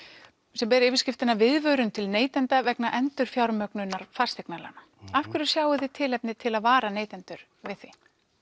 sem ber yfirskriftina viðvörun til neytenda vegna endurfjármögnunar fasteignalána af hverju sjáið þið tilefni til að vara neytendur við því